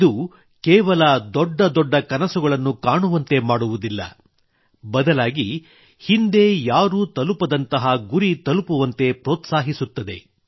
ಇದು ಕೇವಲ ದೊಡ್ಡ ದೊಡ್ಡ ಕನಸುಗಳನ್ನು ಕಾಣುವಂತೆ ಮಾಡುವುದಿಲ್ಲ ಹೊರತಾಗಿ ಹಿಂದೆ ಯಾರೂ ತಲುಪದಂತಹ ಗುರಿ ತಲುಪುವಂತೆ ಪ್ರೋತ್ಸಾಹಿಸುತ್ತದೆ